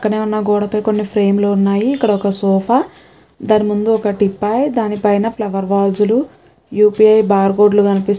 పక్కనే ఉన్న గోడపై కొన్ని ఫ్రేమ్ లు ఉన్నాయి. ఇక్కడొక సోఫా . దాన్ని ముందు ఒక్క టీపై దాని పైన ఫ్లోర్ వెజ్ లు యు_ పి_ఐ బార్ కోడ్ లు కనిపిస్--